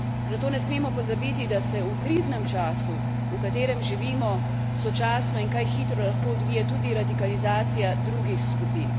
Zato ne smemo pozabiti, da se v kriznem času, v katerem živimo, sočasno in kaj hitro lahko odvije tudi radikalizacija drugih skupin.